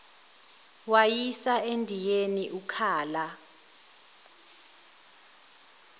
wayisa endiyeni ukhala